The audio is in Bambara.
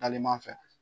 Talima fɛ